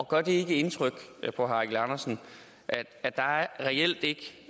gør det ikke indtryk på herre eigil andersen at der reelt ikke